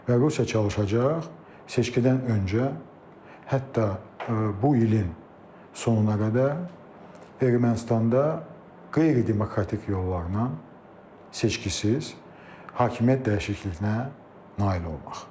Və Rusiya çalışacaq seçkidən öncə, hətta bu ilin sonuna qədər Ermənistanda qeyri-demokratik yollarla, seçkisiz hakimiyyət dəyişikliyinə nail olmaq.